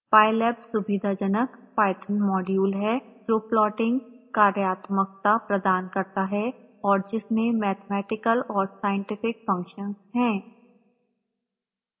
pylab सुविधाजनक python module है